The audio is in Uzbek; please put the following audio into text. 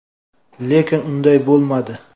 Lekin unday bo‘lmadi”.